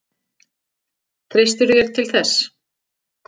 Treystirðu þér til þess?